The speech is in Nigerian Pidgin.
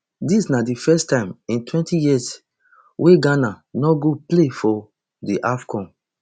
dis na di first time in twenty years wia ghana no go play for di afcon